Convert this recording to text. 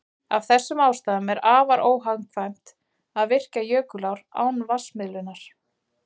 Af þessum ástæðum er afar óhagkvæmt að virkja jökulár án vatnsmiðlunar.